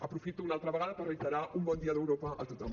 aprofito una altra vegada per reiterar un bon dia d’europa a tothom